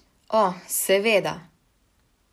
O, seveda!